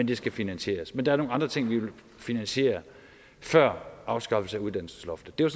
det skal finansieres men der er nogle andre ting vi vil finansiere før afskaffelsen af uddannelsesloftet det var